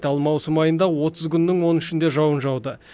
ал маусым айында отыз күннің он үшінде жауын жауды